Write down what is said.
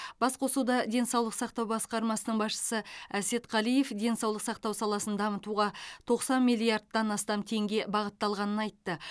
бас қосуда денсаулық сақтау басқармасының басшысы әсет қалиев денсаулық сақтау саласын дамытуға тоқсан миллиардтан астам теңге бағытталғанын айтты